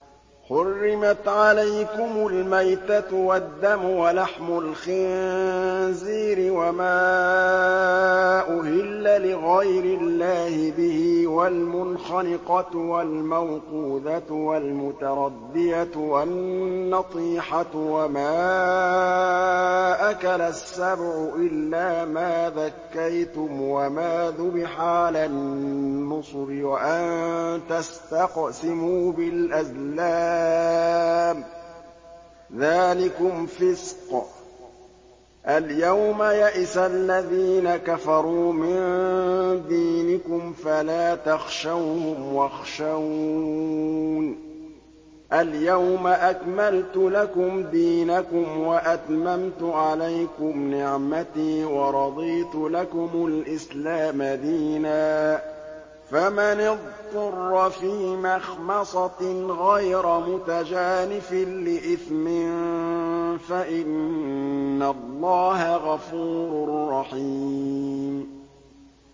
حُرِّمَتْ عَلَيْكُمُ الْمَيْتَةُ وَالدَّمُ وَلَحْمُ الْخِنزِيرِ وَمَا أُهِلَّ لِغَيْرِ اللَّهِ بِهِ وَالْمُنْخَنِقَةُ وَالْمَوْقُوذَةُ وَالْمُتَرَدِّيَةُ وَالنَّطِيحَةُ وَمَا أَكَلَ السَّبُعُ إِلَّا مَا ذَكَّيْتُمْ وَمَا ذُبِحَ عَلَى النُّصُبِ وَأَن تَسْتَقْسِمُوا بِالْأَزْلَامِ ۚ ذَٰلِكُمْ فِسْقٌ ۗ الْيَوْمَ يَئِسَ الَّذِينَ كَفَرُوا مِن دِينِكُمْ فَلَا تَخْشَوْهُمْ وَاخْشَوْنِ ۚ الْيَوْمَ أَكْمَلْتُ لَكُمْ دِينَكُمْ وَأَتْمَمْتُ عَلَيْكُمْ نِعْمَتِي وَرَضِيتُ لَكُمُ الْإِسْلَامَ دِينًا ۚ فَمَنِ اضْطُرَّ فِي مَخْمَصَةٍ غَيْرَ مُتَجَانِفٍ لِّإِثْمٍ ۙ فَإِنَّ اللَّهَ غَفُورٌ رَّحِيمٌ